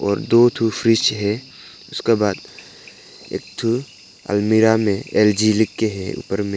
और दो ठो फ्रिज है उसका बाद एक ठो अलमारी मे एल_जी लिखकर है ऊपर में।